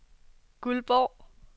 Guldborg